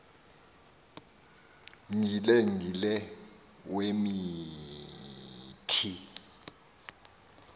gile gile wemithi